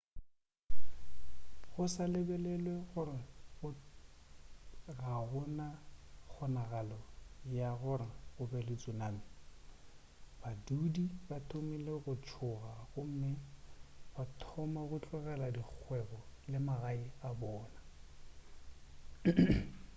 go sa lebelelwe gore ga go na kgonagalo ya gore go be le tsunami badudi ba thomile go tšhoga gomme ba thoma go tlogela dikgwebo le magae a bona